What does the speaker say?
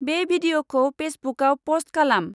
बेे भिदिअखौ फेसबुकआव पस्ट खालाम।